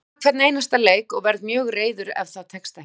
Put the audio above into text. Ég vil vinna hvern einasta leik og verð mjög reiður ef það tekst ekki.